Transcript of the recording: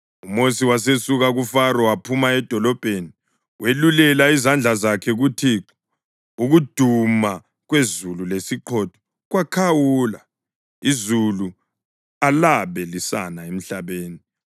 UMosi wasesuka kuFaro waphuma edolobheni. Welulela izandla zakhe kuThixo; ukuduma kwezulu lesiqhotho kwakhawula, izulu alabe lisana emhlabeni.